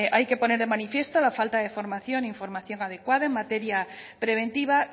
hay que poner de manifiesto la falta de formación e información adecuada en materia preventiva